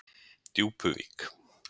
Djúpuvík